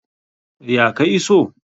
Ya ka iso?